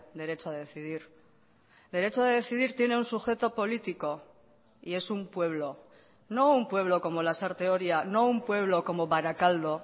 derecho a decidir derecho a decidir tiene un sujeto político y es un pueblo no un pueblo como lasarte oria no un pueblo como barakaldo